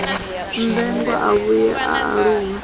mmbengwa a vhuye a aluwe